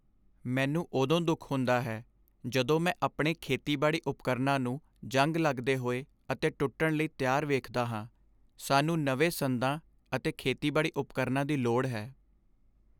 ਮੈਨੂੰ ਉਦੋਂ ਦੁੱਖ ਹੁੰਦਾ ਹੈ ਜਦੋਂ ਮੈਂ ਆਪਣੇ ਖੇਤੀਬਾੜੀ ਉਪਕਰਣਾਂ ਨੂੰ ਜੰਗ ਲੱਗਦੇ ਹੋਏ ਅਤੇ ਟੁੱਟਣ ਲਈ ਤਿਆਰ ਵੇਖਦਾ ਹਾਂ। ਸਾਨੂੰ ਨਵੇਂ ਸੰਦਾਂ ਅਤੇ ਖੇਤੀਬਾੜੀ ਉਪਕਰਣਾਂ ਦੀ ਲੋੜ ਹੈ।